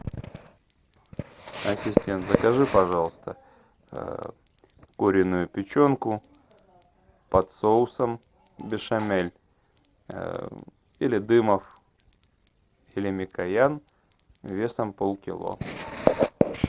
ассистент закажи пожалуйста куриную печенку под соусом бешамель или дымов или микоян весом полкило